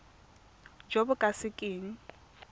jo bo ka se keng